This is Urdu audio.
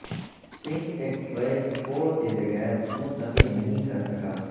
سنک ایک ٹریس چھوڑ کے بغیر منتقل نہیں کر سکا